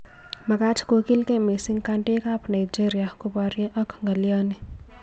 Makaaat kokiilgei missing kandoik ab Nigeria koboryo ak ng'alyoni